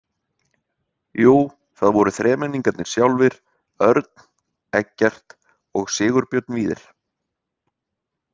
Jú, það voru þremenningarnir sjálfir, Örn, Eggert og Sigurbjörn Víðir.